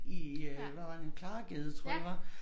I øh hvad var det Klaregade tror jeg det var